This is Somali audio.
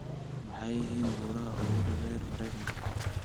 Maxay yihiin buuraha ugu dhaadheer Maraykanka?